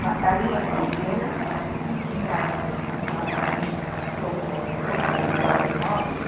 Uma salinha pequena que tinha uma um um jogo de móveis